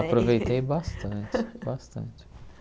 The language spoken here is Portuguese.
Aproveitei bastante, bastante.